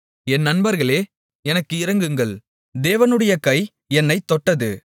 என் நண்பர்களே எனக்கு இரங்குங்கள் எனக்கு இரங்குங்கள் தேவனுடைய கை என்னைத் தொட்டது